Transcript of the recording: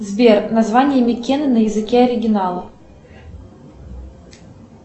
сбер название микены на языке оригинала